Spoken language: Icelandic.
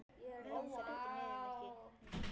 Mig langar ekki niður, Nikki.